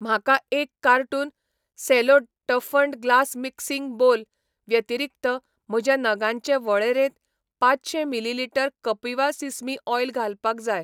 म्हाका एक carton Cello toughened glass mixing bowl व्यतिरीक्त म्हज्या नगांचे वळेरेंत पांचशें मिलीलिटर कपिवा सिसमी ऑयल घालपाक जाय.